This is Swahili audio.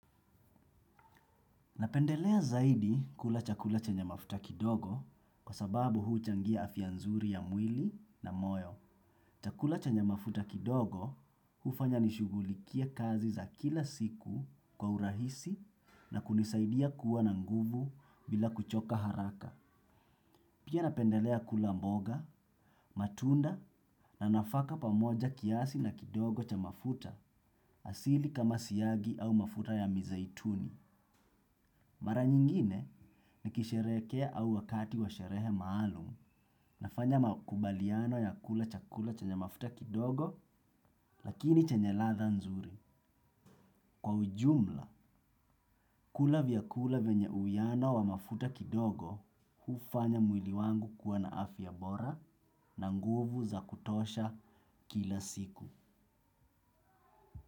Napendelea zaidi kula chakula chenye mafuta kidogo kwa sababu huchangia afya nzuri ya mwili na moyo. Chakula chenye mafuta kidogo hufanya nishugulikie kazi za kila siku kwa urahisi na kunisaidia kuwa na nguvu bila kuchoka haraka. Pia napendelea kula mboga, matunda na nafaka pamoja kiasi na kidogo cha mafuta asili kama siyagi au mafuta ya mizaituni. Mara nyingine ni kisherehekea au wakati wa sherehe maalumu nafanya makubaliano ya kula chakula chenye mafuta kidogo lakini chenye latha nzuri. Kwa ujumla, kula vyakula vyenye uwiano wa mafuta kidogo hufanya mwili wangu kuwa na afya bora na nguvu za kutosha kila siku.